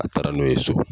A taara n'o ye so